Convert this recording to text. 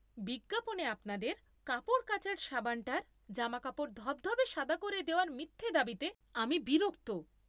বিজ্ঞাপনে আপনাদের কাপড় কাচার সাবানটার জামাকাপড় ধবধবে সাদা করে দেওয়ার মিথ্যে দাবিতে আমি বিরক্ত।